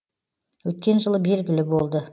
өткен жылы белгілі болды